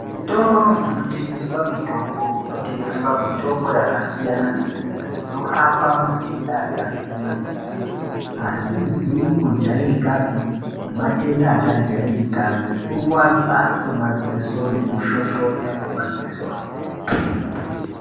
Zvitoro zvinotengeswa mitombo kunotengeswa mitombo yakasiyana-siyana inorapa matenda akasiyana-siyana, asizi kujairikapi nematenda akajairika sekurwadza kwemadziso nekushoshonya kwemadzisohe.